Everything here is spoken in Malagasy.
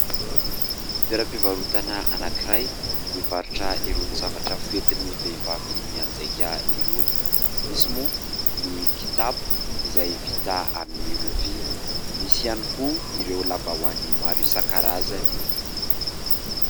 Toeram-pivarotana anankiray mivarotra irony zavatra foentin'ny vehivavy mianjaika irony. Misy moa ny kitapo izay vita amin'ny rofia, misy ihany koa ireo lambahoany maro isan-karazany